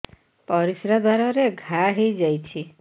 ପରିଶ୍ରା ଦ୍ୱାର ରେ ଘା ହେଇଯାଇଛି